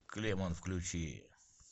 клемон включи